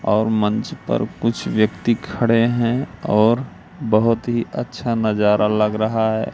और मंच पर कुछ व्यक्ति खड़े हैं और बहोत ही अच्छा नजारा लग रहा है।